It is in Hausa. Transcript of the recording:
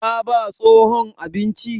Ta ba tsohon abinci?